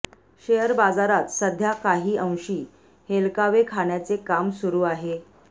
share बाजारात सध्या काहीअंशी हेलकावे खाण्याचे काम सुरू आहे